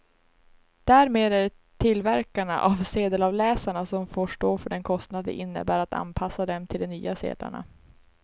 Därmed är det tillverkarna av sedelavläsarna som får stå för den kostnad det innebär att anpassa dem till de nya sedlarna.